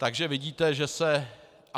Takže vidíte, že se...